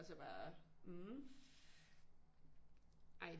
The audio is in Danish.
Og så bare ej